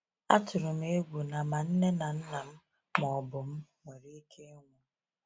Atụrụ m egwu na ma nne na nna m ma ọ bụ m nwere ike ịnwụ.